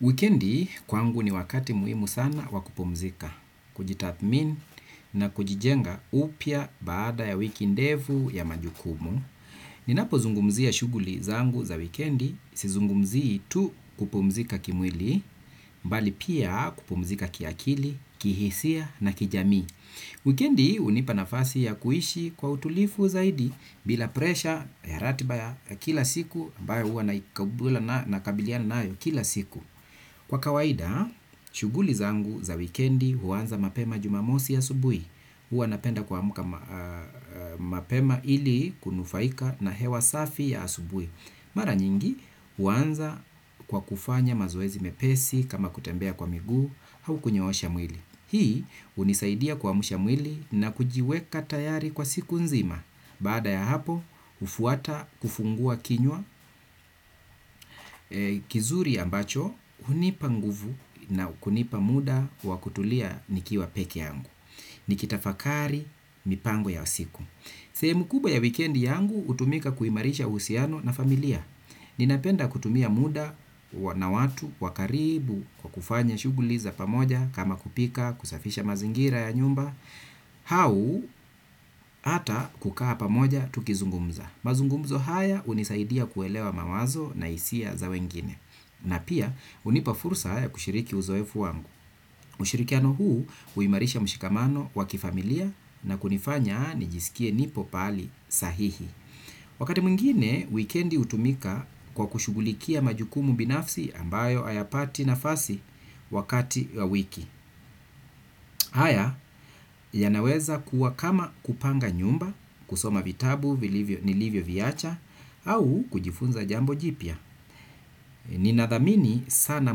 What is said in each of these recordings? Wikendi kwangu ni wakati muhimu sana wakupumuzika, kujithamini na kujijenga upiya baada ya wiki ndefu ya majukumu. Ninapo zungumzia shughuli zangu za wikendi, si zungumzi tu kupumzika kimwili, bali pia kupumzika kiakili, kihisia na kijamii. Wikendi hunipa nafasi ya kuishi kwa utulivu zaidi bila presha ya ratiba ya kila siku, ambayo huwa nakabiliana nayo kila siku. Kwa kawaida, shughuli zangu za wikendi huwanza mapema jumamosi asubui. Huwa napenda kuamuka mapema ili kunufaika na hewa safi ya asubui. Mara nyingi huwanza kwa kufanya mazoezi mepesi kama kutembea kwa miguu hau kunyoosha mwili. Hii hunisaidia kuamsha mwili na kujiweka tayari kwa siku nzima. Baada ya hapo, hufuata kufungua kinywa kizuri ya ambacho, hunipa nguvu na kunipa muda wakutulia nikiwa peke yangu. Nikitafakari, mipango ya siku. Sehemu kubwa ya wikendi yangu, hutumika kuimarisha uhusiano na familia. Ninapenda kutumia muda na watu, wakaribu, kwakufanya, shughuli za pamoja, kama kupika, kusafisha mazingira ya nyumba. Hau, ata kukaa pamoja, tukizungumza. Mazungumzo haya hunisaidia kuelewa mawazo na hisia za wengine. Na pia hunipa fursa haya kushiriki uzoefu wangu. Ushirikiano huu huimarisha mshikamano wakifamilia na kunifanya nijisikie nipo pahali sahihi. Wakati mwingine, wikendi hutumika kwa kushughulikia majukumu binafsi ambayo hayapati nafasi wakati wa wiki. Haya ya naweza kuwa kama kupanga nyumba, kusoma vitabu, nilivyo viacha au kujifunza jambo jipya. Ninadhamini sana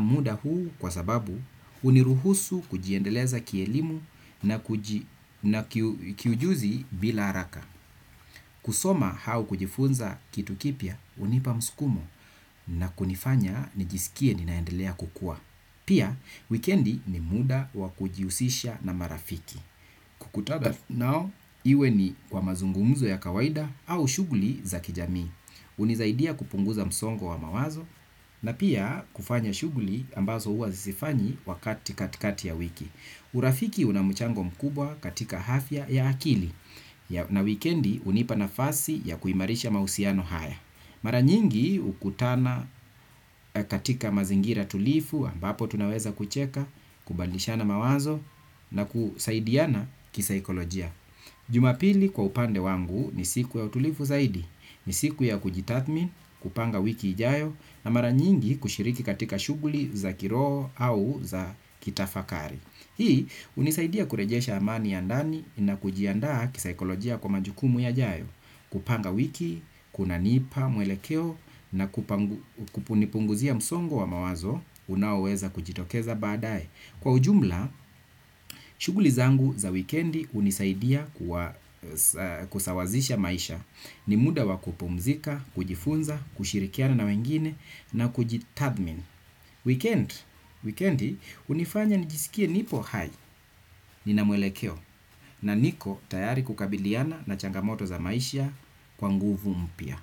muda huu kwa sababu huniruhusu kujiendeleza kielimu na kiujuzi bila haraka. Kusoma hau kujifunza kitu kipya hunipa musukumo. Na kunifanya nijisikie ninaendelea kukuwa. Pia, wikendi ni muda wa kujihusisha na marafiki. Kukutana nao, iwe ni kwa mazungumzo ya kawaida au shughuli za kijamii. Hunisaidia kupunguza msongo wa mawazo na pia kufanya shughuli ambazo huwa sifanyi wakati katikati ya wiki. Urafiki unamuchango mkubwa katika hafya ya akili na wikendi hunipa nafasi ya kuimarisha mahusiano haya. Mara nyingi hukutana katika mazingira tulivu ambapo tunaweza kucheka kubadilishana mawazo na kusaidiana kisaikolojia. Jumapili kwa upande wangu ni siku ya utulivu zaidi, ni siku ya kujitathamini, kupanga wiki ijayo na mara nyingi kushiriki katika shughuli za kiroho au za kitafakari. Hii hunisaidia kurejesha amani ya ndani na kujiandaa kisikolojia kwa majukumu yajayo, kupanga wiki, kuna nipa mwelekeo na kunipunguzia msongo wa mawazo unaoweza kujitokeza baadaye. Kwa ujumla, shughuli zangu za wikendi hunisaidia kusawazisha maisha ni muda wakupumzika, kujifunza, kushirikiana na wengine na kujithamini. Wikendi hunifanya nijisikie nipo hai ni namwelekeo na niko tayari kukabiliana na changamoto za maisha kwa nguvu mpya.